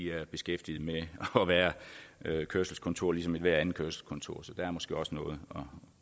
er beskæftiget med at være kørselskontor ligesom enhver andet kørselskontor så der er måske også noget at